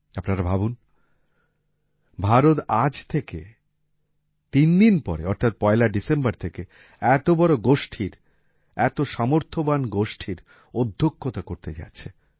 আপনারা ভাবুন ভারত আজ থেকে তিন দিন পরে অর্থাৎ পয়লা ডিসেম্বর থেকে এত বড় গোষ্ঠীর এত সামর্থ্যবান গোষ্ঠীর অধ্যক্ষতা করতে যাচ্ছে